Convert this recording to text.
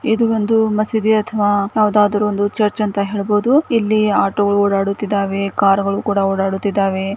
ಇದು ಒಂದು ಮಸೀದಿ ಅಥವಾ ಯಾವುದಾದರೂ ಒಂದು ಚರ್ಚ್ ಅಂತ ಹೇಳಬಹುದು ಇಲ್ಲಿ ಆಟೋ ಓಡಾಡುತ್ತಿದೆ ಮತ್ತೆ ಕಾರ್ಗ ಳು ಕೂಡ ಓಡಾಡುತ್ತಿದ್ದಾರೆ.